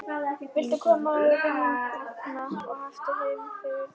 Viltu komast í vinnuna og aftur heim fyrir túkall?